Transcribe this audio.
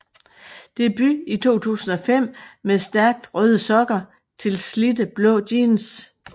Debut i 2005 med Stærkt røde sokker til slidte blå jeans